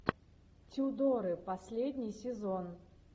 тюдоры последний сезон